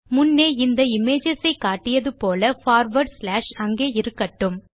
முன்னே இந்த இமேஜஸ் ஐ காட்டியது போல பார்வார்ட் ஸ்லாஷ் அங்கே இருக்கட்டும்